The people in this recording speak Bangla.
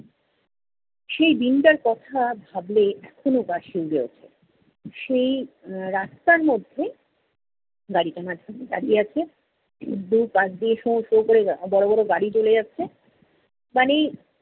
সেই দিনটার কথা ভাবলে এখনও গা শিউড়ে ওঠে। সেই, এর রাস্তার মধ্যে গাড়িটা মাঝখানে দাঁড়িয়ে আছে। দু'পাশ দিয়ে শোঁ শোঁ কোরে বড় বড় গাড়ি চলে যাচ্ছে। মানে,